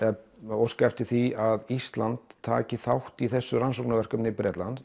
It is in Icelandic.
óskað eftir því að Ísland taki þátt í þessu rannsóknarverkefni